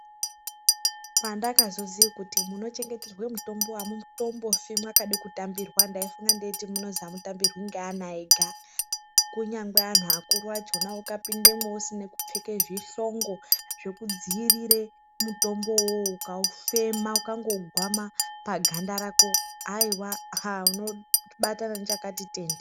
Pandakazoziye kuti munochengeterwa mitombo amutombofi mwakade kutambirwa ndaifunga kuti munozi amutambirwi neana ega kunyangwe anhu akuru acho ukapindemwo usina kupfeke zvihlongo zvekudzivirire mutombo uwowo ukawufema ukawugwama paganda rako aiwa unobatana nechakati tende.